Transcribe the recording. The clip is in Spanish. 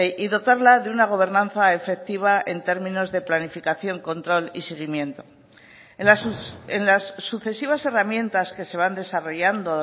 y dotarla de una gobernanza efectiva en términos de planificación control y seguimiento en las sucesivas herramientas que se van desarrollando